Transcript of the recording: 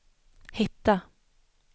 hitta